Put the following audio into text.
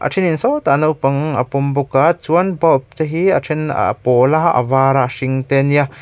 a thenin sawtah naupang a pawm bawk a chuan bulb te hi a then a pawl a a var a a hring te a nia.